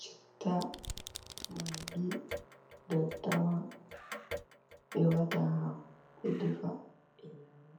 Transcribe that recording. chitta, magi, daddawa ɓe wata ha hako ɓe defa ɓe nyama.